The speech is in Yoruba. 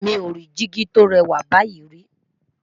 mí ọ rí digi tó rè wà báyìí ri